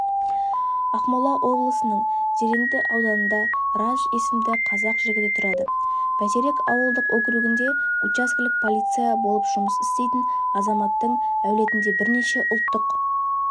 ақмола облысының зеренді ауданында радж есімді қазақ жігіті тұрады бәйтерек ауылдық округінде учаскелік полиция болып жұмыс істейтін азаматтың әулетінде бірнеше ұлттық